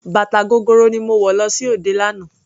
Bàtà gogoro ni mo wọ̀ lọ sí òde lánàá.